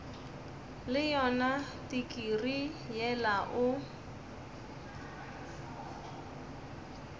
le yona tikirii yela o